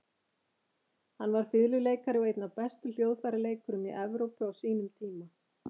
Hann var fiðluleikari og einn af bestu hljóðfæraleikurum í Evrópu á sínum tíma.